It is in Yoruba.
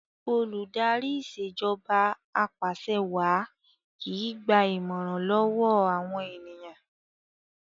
Olùdarí Ìṣèjọba Apàṣẹwàá kìí gba ìmọ̀ràn lọ́wọ́ àwọn ènìyàn